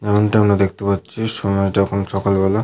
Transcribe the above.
যেমনটা আমরা দেখতে পাচ্ছি সময়টা এখন সকালবেলা।